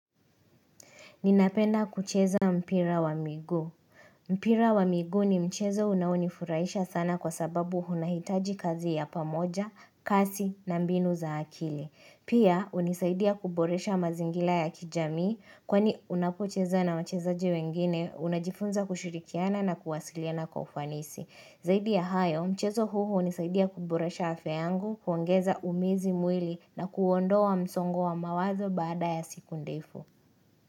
Ninapenda kucheza mpira wa miguu. Mpira wa miguu ni mchezo unaonifuraisha sana kwa sababu hunahitaji kazi ya pamoja, kasi na mbinu za akili. Pia, unisaidia kuboresha mazingila ya kijamii, kwani unapocheza na wachezaji wengine, unajifunza kushurikiana na kuwasiliana kufanisi. Zaidi ya hayo, mchezo huu unisaidia kuboresha afya yangu, kuongeza umizi mwili na kuondoa msongo wa mawazo baada ya siku ndefu.